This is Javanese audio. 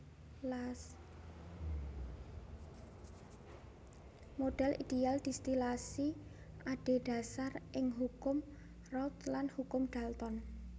Modhel ideal distilasi adhedhasar ing Hukum Raoult lan Hukum Dalton